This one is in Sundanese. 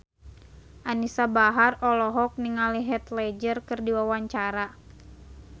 Anisa Bahar olohok ningali Heath Ledger keur diwawancara